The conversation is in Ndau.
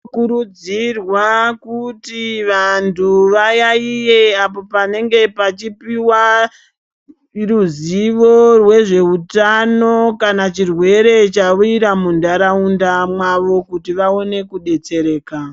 Tinokurudzirwa kuti vantu vayaiye apo panenge pachipiwa ruzivo rwezveutano kana chirwere chawira mundaraunda mwavo kuti vawane kudetsereka.